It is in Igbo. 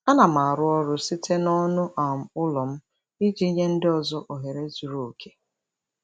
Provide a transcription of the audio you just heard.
Ana m arụ ọrụ site n'ọnụ um ụlọ m iji nye ndị ọzọ ohere zuru oke.